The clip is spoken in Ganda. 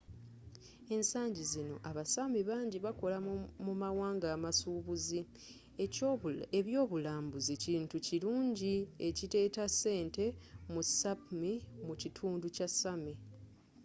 ensangi zino abasaami bangi bakolera mu mawanga amasuubuzi ebyobulambuzi kintu kirungi ekireeta ssente mu sapmi mu kitundu kya sami